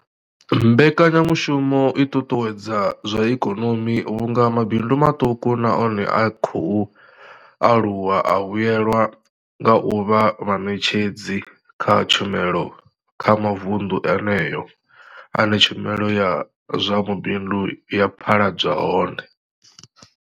Mbekanyamushumo i ṱuṱuwedza zwa ikonomi vhunga mabindu maṱuku na one a khou aluwa a vhuelwa nga u vha vhaṋetshedzi vha tshumelo kha mavundu eneyo ane tshumelo ya zwa mabindu ya phaḓaladzwa hone.